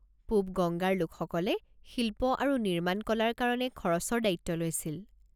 পূব-গংগাৰ লোকসকলে শিল্প আৰু নিৰ্মাণ কলাৰ কাৰণে খৰচৰ দায়িত্ব লৈছিল।